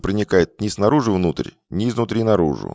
проникает ни снаружи внутрь не изнутри наружу